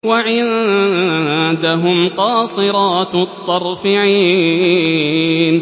وَعِندَهُمْ قَاصِرَاتُ الطَّرْفِ عِينٌ